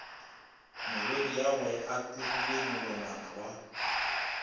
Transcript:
morwediagwe a kurile molongwana wa